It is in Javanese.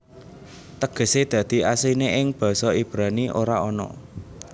Tegesé dadi asliné ing basa Ibrani ora ana